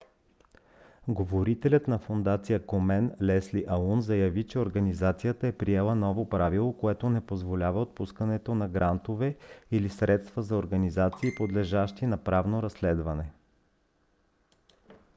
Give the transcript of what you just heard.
говорителят на фондация комен лесли аун заяви че организацията е приела ново правило което не позволява отпускането на грантове или средства на организации подлежащи на правно разследване